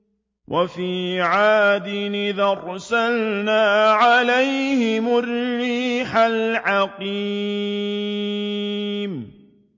وَفِي عَادٍ إِذْ أَرْسَلْنَا عَلَيْهِمُ الرِّيحَ الْعَقِيمَ